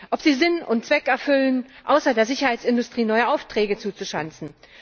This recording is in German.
ob sie Sinn und Zweck erfüllen, außer der Sicherheitsindustrie neue Aufträge zuzuschanzen.